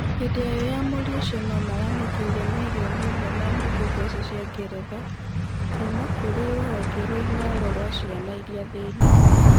hĩndĩ ya winyamũrĩri ũcio no maramũkĩrire mĩrioni ĩmwe na nuthu mbeca cia ngeretha, kuma kũrĩ rũhonge rwa inooro rwa ciana iria thĩni